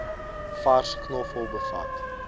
vars knoffel bevat